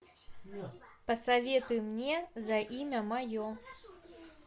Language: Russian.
посоветуй мне за имя мое